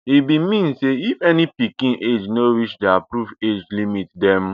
e bin mean say if any pikin age no reach di approved age limit dem